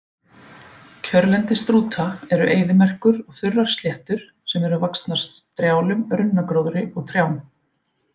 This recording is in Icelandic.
Kjörlendi strúta eru eyðimerkur og þurrar sléttur sem eru vaxnar strjálum runnagróðri og trjám.